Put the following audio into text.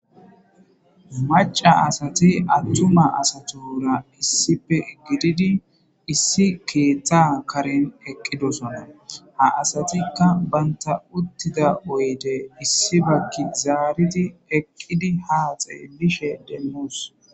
maca asati attuma asatora issipe gididi issi keeththa karen eqqidosona ha asatikka banta uttida oyde issi bakki zaaridi eqqidi haaxee mishe demmus